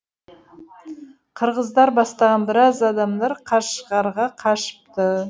қырғыздар бастаған біраз адамдар қашғарға қашыпты